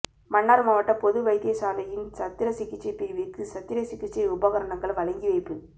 மன்னார் மாவட்ட பொது வைத்தியசாலையின் சத்திர சிகிச்சை பிரிவுக்கு சத்திர சிகிச்சை உபகரணங்கள் வழங்கி வைப்பு